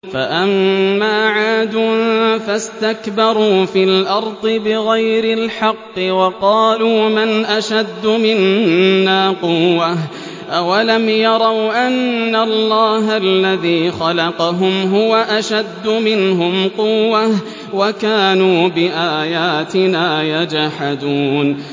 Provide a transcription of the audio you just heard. فَأَمَّا عَادٌ فَاسْتَكْبَرُوا فِي الْأَرْضِ بِغَيْرِ الْحَقِّ وَقَالُوا مَنْ أَشَدُّ مِنَّا قُوَّةً ۖ أَوَلَمْ يَرَوْا أَنَّ اللَّهَ الَّذِي خَلَقَهُمْ هُوَ أَشَدُّ مِنْهُمْ قُوَّةً ۖ وَكَانُوا بِآيَاتِنَا يَجْحَدُونَ